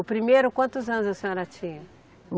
O primeiro, quantos anos a senhora tinha?